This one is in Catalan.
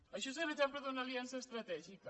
això és l’exemple d’una aliança estratègica